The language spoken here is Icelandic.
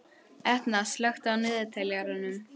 Etna, slökktu á niðurteljaranum.